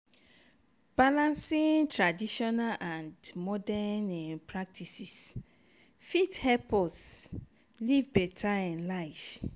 balancing traditional and modern practices fit help us live beta um life.